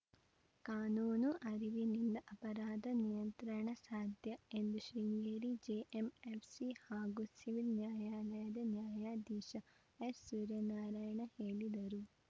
ಕಾನೂನು ಅರಿವಿನಿಂದ ಅಪರಾಧ ನಿಯಂತ್ರಣ ಸಾಧ್ಯ ಎಂದು ಶೃಂಗೇರಿ ಜೆಎಂಎಫ್‌ಸಿ ಹಾಗೂ ಸಿವಿಲ್‌ ನ್ಯಾಯಾಲಯದ ನ್ಯಾಯಾಧೀಶ ಎಸ್‌ಸೂರ್ಯನಾರಾಯಣ ಹೇಳಿದರು